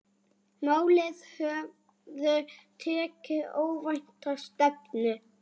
Málin höfðu tekið óvænta stefnu.